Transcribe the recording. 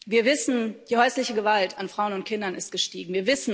Wir wissen Die häusliche Gewalt an Frauen und Kindern ist gestiegen.